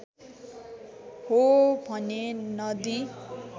हो भने नदी